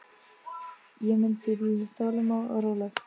Ég mun því bíða þolinmóð og róleg.